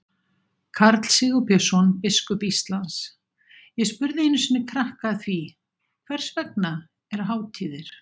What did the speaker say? Karl Sigurbjörnsson, biskup Íslands: Ég spurði einu sinni krakka að því, hvers vegna eru hátíðir?